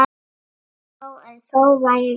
Já en þó vægan.